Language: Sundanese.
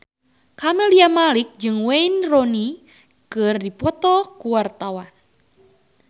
Camelia Malik jeung Wayne Rooney keur dipoto ku wartawan